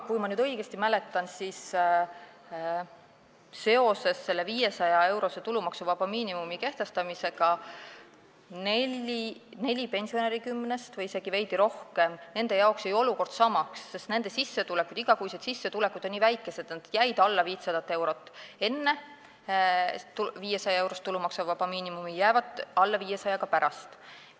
Kui ma õigesti mäletan, siis seoses selle 500-eurose tulumaksuvaba miinimumi kehtestamisega jäi neljal pensionäril kümnest või isegi veidi rohkematel olukord samaks, sest nende igakuised sissetulekud on nii väikesed, et need jäid alla 500 euro enne 500-eurose tulumaksuvaba miinimumi kehtestamist ja jäävad alla 500 euro ka pärast seda.